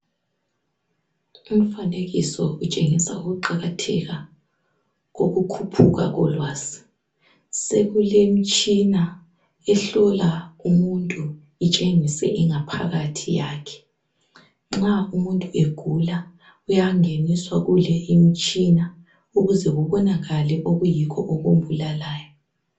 Umfanekiso utshengisa ukuqakatheka kokukhuphuka kolwazi sekulemtshina ehlola umuntu itshengise ingaphakathi yakhe nxa umuntu egula uyangeniswa kule imtshina ukuze kubonakale okuyikho okumbulalayo.